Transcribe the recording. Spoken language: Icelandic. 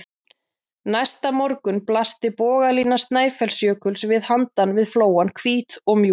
Næsta morgun blasti bogalína Snæfellsjökuls við handan við flóann, hvít og mjúk.